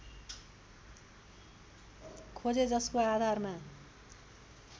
खोजे जसको आधारमा